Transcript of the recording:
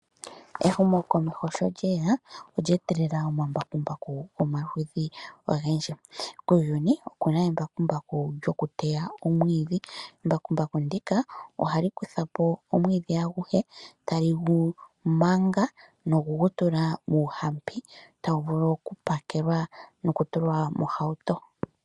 Ehumokomeho sho lyeya, olye etelela omambakumbaku gomaludhi ogendji. Kuuyuni oku na embakumbaku lyoku teya omwiidhi, embakumbaku ndika ohali kutha po omwiidhi aguhe, tali gu manga noku gu tula muuhampi, tagu vulu oku pakelwa noku tulwa mohauto.